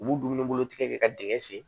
U b'u dumunibolo tigɛ ka dingɛ sen